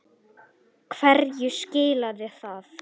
Hverju skilaði það?